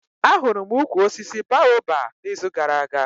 Ahụrụ m ukwu osisi Baoba na izu gara aga